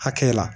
Hakɛ la